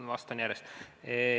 Vastan järjest.